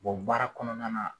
baara kɔnɔna na